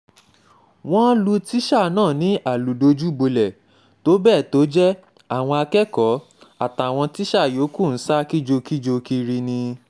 wọ́n lu tíṣà náà ni àlùdojúbolẹ̀ tó bẹ́ẹ̀ tó jẹ́ àwọn akẹ́kọ̀ọ́ àtàwọn tíṣà yòókù ń ṣa kìjokìjo kiri ni